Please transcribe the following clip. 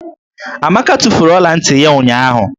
Amaka tufuru ọla ntị ya ụnyụahụ.